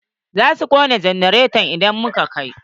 Za su kunna janareta idan muka kai.